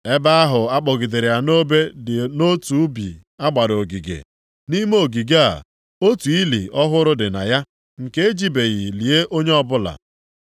Ebe ahụ a kpọgidere ya nʼobe dị nʼotu ubi a gbara ogige. Nʼime ogige a, otu ili ọhụrụ dị na ya nke e jibeghị lie onye ọbụla.